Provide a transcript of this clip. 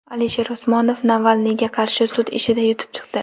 Alisher Usmonov Navalniyga qarshi sud ishida yutib chiqdi.